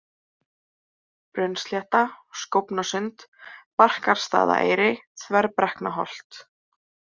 Brunnslétta, Skófnasund, Barkarstaðaeyri, Þverbrekknaholt